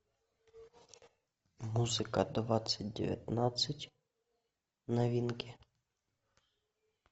музыка двадцать девятнадцать новинки